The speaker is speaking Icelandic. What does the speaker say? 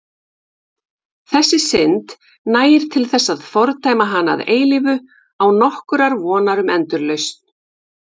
Þessi synd nægir til þess að fordæma hana að eilífu án nokkurrar vonar um endurlausn.